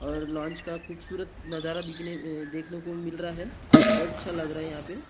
और लॉंच का खुप्सूरत नजारा देखने को मिल रहा है बहुत अच्छा लग रहा है यहाँ पे --